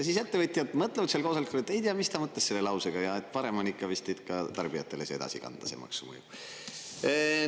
Siis ettevõtjad mõtlevad oma koosolekul, et ei tea, mida mõtles selle lausega, ja et parem on vist tõesti ka tarbijatele edasi kanda see mõju.